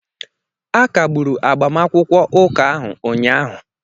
Akagburu agbamakwụkwọ ụka ahụ ụnyahụ